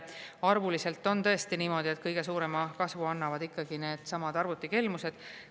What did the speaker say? Arvuliselt on tõesti niimoodi, et kõige suurema kasvu annavad needsamad arvutikelmused.